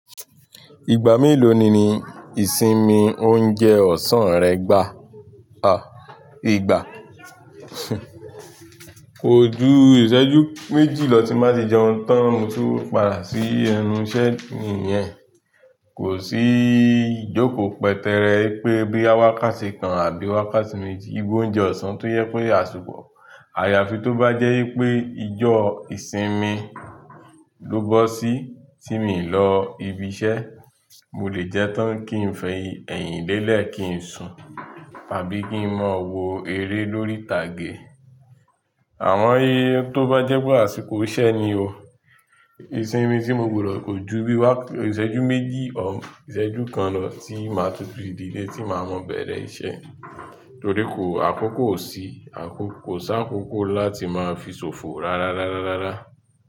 Ìgbà mélòó ni ìsinmi oúnjẹ ọ̀sán rẹ gbà, à, ìgbà? Kò ju ìṣẹ́jú méjì lọ tí máa sì jẹun tán, mo tún padà sí ẹnu iṣẹ́ yẹn. Kò sí ìjókòó pẹtẹẹrẹ pé bí wákàtí kan àbí wákàtí méjì, igba oúnjẹ ọ̀sán tó yẹ kó yà súpọ̀. Àyàfi tó bá jẹ́ wípé ijó ìsinmi dógbó sí tí mi ń lọ ibi iṣẹ́, mo lè jẹ́ tán kí n fẹ ẹ̀yìn lélẹ̀ kí n sùn àbí kí n máa wo eré lórí ìtàgé. Àmọ tó bá jẹ́ pé àsìkò iṣẹ́ ni o. Ìsinmi tí mo gbọdọ̀ kò ju bí wákàtí, ìṣẹ́jú méjì ọ, ìṣẹ́jú kan lọ tí màá tutù ìdílé tí màá mọ̀ bẹ̀rẹ̀ iṣẹ́. Torí kò àkókò sí, àkókò sá àkókò láti máa fi ṣòfò rárá, rárá, rárá.